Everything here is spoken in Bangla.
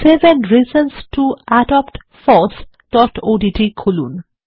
seven reasons to adopt fossওডিটি খুলুন